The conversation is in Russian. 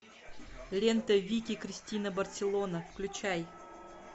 лента вики кристина барселона включай